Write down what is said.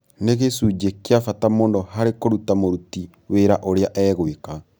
Nĩ gĩcunjĩ kĩa bata mũno harĩ kũruta mũruti wĩra ũrĩa egwĩka.